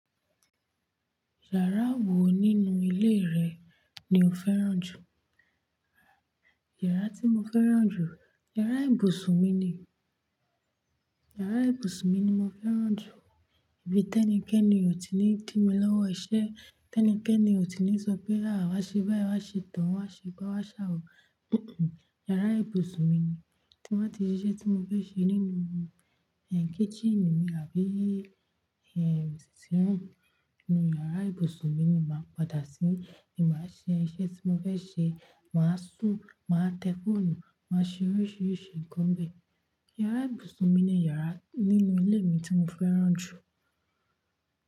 Yàrá wo nínú ilé rẹ ni o fẹ́ràn jù? Yàrá tí mo fẹ́ràn jù, yàrá ibùsùn mi ni. Yàrá ibùsùn mi ni mo fẹ́ràn jù. Ibi tẹ́níkẹ́ ni ò tí ì ní dí mi lọ́wọ́ iṣẹ́, tẹ́níkẹ́ ni ò tí ì ní sọ pé à wa ṣe báyìí, wá ṣe tohun, wá ṣe gba, wá ṣàwọ̀. Yàrá ibùsùn mi ni. Tí mo bá ti ṣiṣẹ́ tí mo fẹ́ ṣe nínú kitchen mi àbí sitting room, inú yàrá ibùsùn mi ni màá padà sí ní màá ṣe iṣẹ́ tí mo fẹ́ ṣe, màá sùn, màá tẹ fóònù, màá ṣe oríṣiríṣi nǹkan bẹ́ẹ̀. Yàrá ibùsùn mi ni yàrá nínú ilé mi tí mo fẹ́ràn jù.